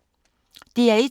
DR1